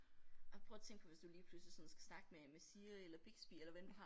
Ej prøv at tænke på hvis du lige pludselig sådan skal snakke med med Siri eller Bixby eller hvad end du har